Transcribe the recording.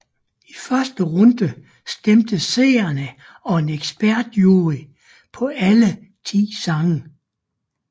I første runde stemte seerne og en ekspertjury på alle ti sange